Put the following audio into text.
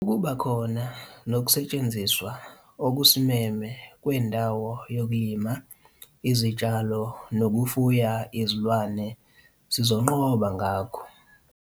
Ukuba khona nokusetshenziswa okusimeme kwendawo yokulima izitshalo nokufuya izilwane sizonqoba ngakho.